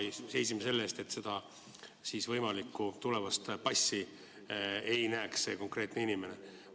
Me seisime selle eest, et seda võimalikku tulevast passi see konkreetne inimene ei näeks.